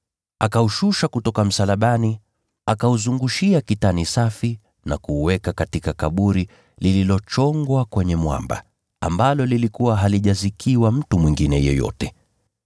Akaushusha kutoka msalabani, akaufunga katika kitambaa cha kitani safi, na kuuweka katika kaburi lililochongwa kwenye mwamba, ambalo halikuwa limezikiwa mtu mwingine bado.